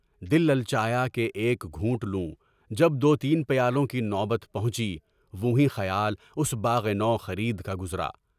دل لالچایا کہ ایک گھونٹ لوں، جب دو تین پیالوں کی نوبت پہنچی تو نہیں خیال اس باغِ نو خرید کا گزرا۔